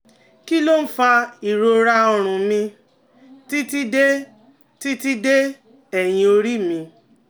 Kí ló ń fa ìrora ọrùn mi titi de titi de eyin ori mi?